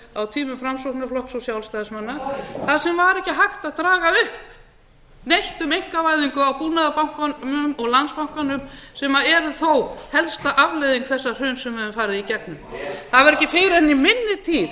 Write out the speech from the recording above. á tímum framsóknarflokks og sjálfstæðismanna þar sem var ekki hægt að draga upp neitt um einkavæðingu á búnaðarbankanum og landsbankanum sem eru þó helsta afleiðing þessa hruns sem við höfum farið í gegnum það var ekki fyrr en í minni tíð